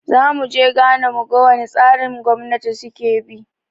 Zamu je Ghana mu ga wane tsarin gwamnati suke bi